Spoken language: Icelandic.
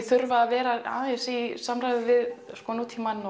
þurfa að vera í samræðu við nútímann